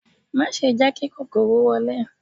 Má ṣe jẹ́ kí kòkòrò wọlé